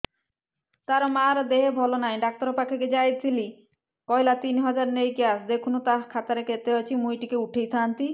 ତାର ମାର ଦେହେ ଭଲ ନାଇଁ ଡାକ୍ତର ପଖକେ ଯାଈଥିନି କହିଲା ତିନ ହଜାର ନେଇକି ଆସ ଦେଖୁନ ନା ଖାତାରେ କେତେ ଅଛି ମୁଇଁ ଟିକେ ଉଠେଇ ଥାଇତି